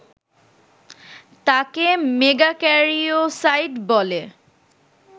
তাকে মেগাক্যারিওসাইট বলে